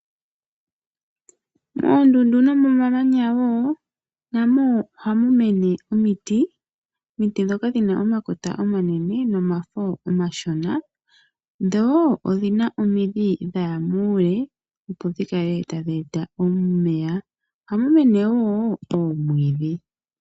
Moondundu nomomamanya wo na mo ohamu mene omiti ndhoka dhina omakota omanene nomafo omashona dho odhina omidhi dhaya muule opo dhi kale ta dheeta omeya. Ohamu mene wo omwiidhi.